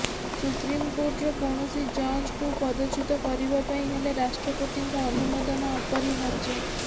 supreme କୋର୍ଟର କୌଣସି ଜଜ୍ଙ୍କୁ ପଦଚ୍ୟୁତ କରିବା ପାଇଁ ହେଲେ ରାଷ୍ଟ୍ରପତିଙ୍କ ଅନୁମୋଦନ ଅପରିହାର୍ଯ୍ୟ